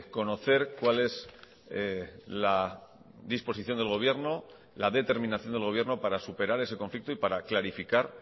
conocer cuál es la disposición del gobierno la determinación del gobierno para superar ese conflicto y para clarificar